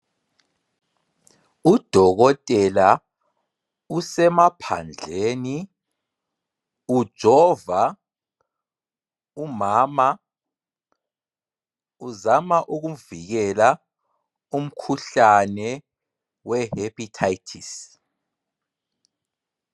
Udokotela usemaphandleni ujova umama uzama ukuvikela umkhuhlane we hephithayithisi